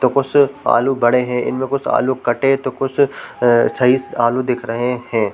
तो कुसु आलू पड़े हैं इनमें से कुछ आलू कटे तो कुछ सही आलू दिख रहै हैं।